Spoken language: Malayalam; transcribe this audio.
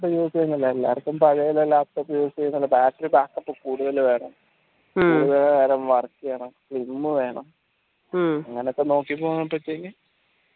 എല്ലാവർക്കും പഴയെ laptop use യ്തോണ്ട് battery backup കൂടുതലും വേണം വേഗം work യണം slim വേണ അങ്ങനൊക്കെ നോക്കി പോകാ ഇപ്പോ ചെയ്യാ